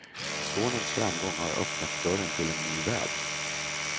Sonens framgång har öppnat dörren till en ny värld.